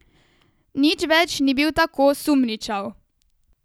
Nič več ni bil tako sumničav.